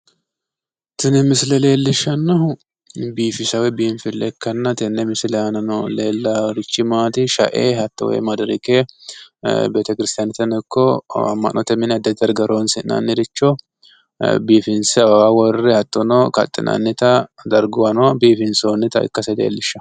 Tini misile leellishshannohu biinfile ikkanna tenne misile aana leellaarichi maati shae woy hatto madarake betekiristiyaane ikko amma'note mine addi addi darga horonsi'nanniricho biifinse awawa worre hattono kaxxinannita darguwanno biifinsoonnita ikkase leellishshawo.